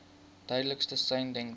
duidelikste sein denkbaar